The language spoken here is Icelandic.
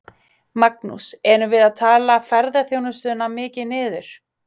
Magnús: Erum við að tala ferðaþjónustuna mikið niður?